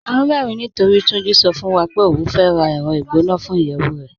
À n rẹ̀rìn nítorí Túnjí sọ̀ fún wa pé ó fẹ́ rá ẹrọ̀ igbọnà fún iyẹwu rẹ̀.